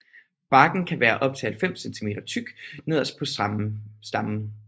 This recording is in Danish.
Barken kan være op til 90 cm tyk nederst på stammen